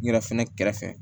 N yɛrɛ fɛnɛ kɛrɛfɛ